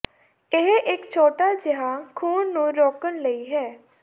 ਇਹ ਇੱਕ ਛੋਟਾ ਜਿਹਾ ਖ਼ੂਨ ਨੂੰ ਰੋਕਣ ਲਈ ਹੈ